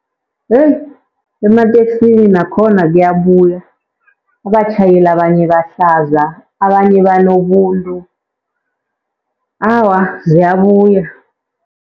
Yeyi, emateksini nakhona kuyabuya. Abatjhayeli abanye bahlaza, abanye banobuntu. Awa ziyabuya.